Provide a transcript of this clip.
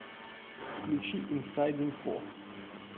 включи инсайд инфо